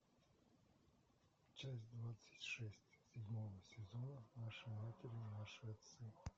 часть двадцать шесть седьмого сезона наши матери наши отцы